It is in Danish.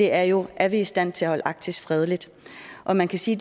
er jo er vi i stand til at holde arktis fredeligt og man kan sige